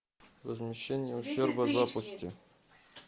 возмещение ущерба запусти